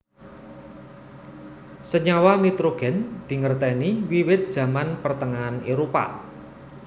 Senyawa nitrogèn dingertèni wiwit Zaman Pertengahan Éropah